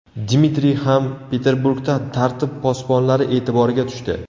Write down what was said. Dmitriy ham Peterburgda tartib posbonlari e’tiboriga tushdi.